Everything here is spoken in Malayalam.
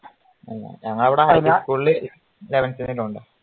ഞങളുടെ അവിടെ ഇസ്കൂളില് eleven വരെ ഉണ്ട്.